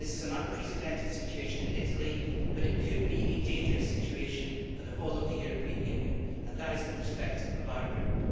This is an unprecedented situation in Italy, but it could be a dangerous situation for the whole of the European Union, and that is the perspective of our group.